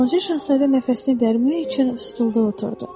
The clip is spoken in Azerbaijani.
Balaca şahzadə nəfəsini dərmək üçün stulda oturdu.